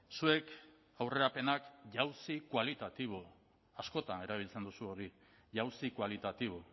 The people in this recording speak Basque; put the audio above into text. zuek aurrerapenak jauzi kualitatibo askotan erabiltzen duzue hori jauzi kualitatibo